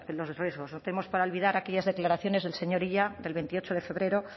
los riesgos tenemos para olvidar aquellas declaraciones del señor illa el veintiocho de febrero